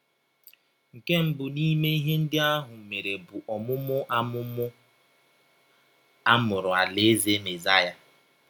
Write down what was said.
Nke mbụ n’ime ihe ndị ahụ mere bụ ọmụmụ a ọmụmụ a mụrụ Alaeze Mesaya.